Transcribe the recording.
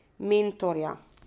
Mentorja.